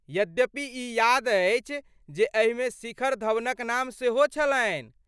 यद्यपि ई याद अछि जे एहिमे शिखर धवनक नाम सेहो छलनि।